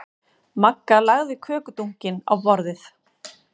Magga lagði kökudunkinn á borðið.